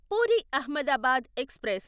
puri Ahmedabad express